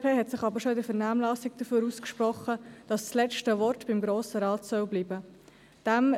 Die glp hat sich aber schon in der Vernehmlassung dafür ausgesprochen, dass das letzte Wort beim Grossen Rat bleiben soll.